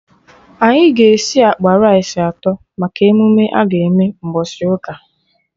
Anyị ga esi akpa rice atọ maka emume aga eme mgbọsị ụka